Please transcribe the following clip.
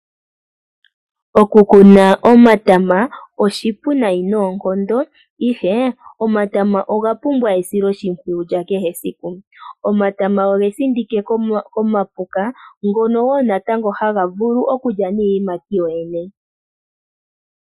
Okukuna omatama oshipu nayi noonkondo ihe omatama ogapumbwa esilo shimpwiyu lyakehe esiku. Omatama ogesindike komapuka, ngono wo natango haga vulu okulya niiyimati yoyene.